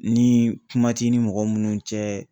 Ni kuma t'i ni mɔgɔ minnu cɛ